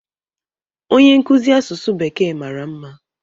onye nkuzi asụsụ bekee mara mma